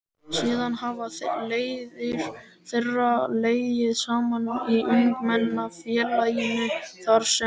Síðan hafa leiðir þeirra legið saman í Ungmennafélaginu þar sem